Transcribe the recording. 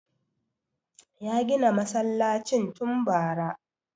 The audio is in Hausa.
Ya gina masallacin tun bara